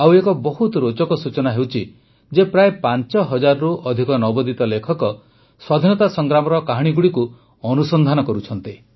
ଆଉ ଏକ ବହୁତ ରୋଚକ ସୂଚନା ହେଉଛି ଯେ ପ୍ରାୟ ୫୦୦୦ରୁ ଅଧିକ ନବୋଦିତ ଲେଖକ ସ୍ୱାଧୀନତା ସଂଗ୍ରାମର କାହାଣୀଗୁଡ଼ିକୁ ଅନୁସନ୍ଧାନ କରୁଛନ୍ତି